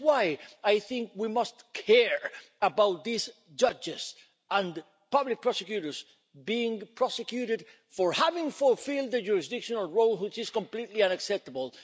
That is why I think we must care about these judges and public prosecutors being prosecuted for having fulfilled their jurisdictional role, which is completely unacceptable.